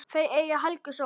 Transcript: Þau eiga Heklu Sól.